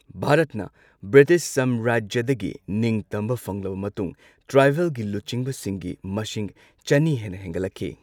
ꯚꯥꯔꯠꯅ ꯕ꯭ꯔꯤꯇꯤꯁ ꯁꯥꯝꯔꯥꯖ꯭ꯌꯗꯒꯤ ꯅꯤꯡꯇꯝꯕ ꯐꯪꯂꯕ ꯃꯇꯨꯡ ꯇ꯭ꯔꯥꯏꯕꯦꯜꯒꯤ ꯂꯨꯆꯤꯡꯕꯁꯤꯡꯒꯤ ꯃꯁꯤꯡ ꯆꯅꯤ ꯍꯦꯟꯅ ꯍꯦꯟꯒꯠꯂꯛꯈꯤ꯫